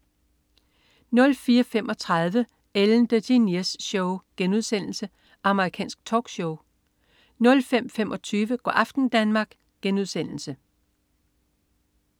04.35 Ellen DeGeneres Show* Amerikansk talkshow 05.25 Go' aften Danmark*